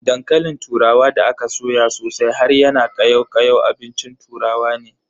Dankalin turawa da aka soya sosai har yana kayau kayau abincin turawa ne.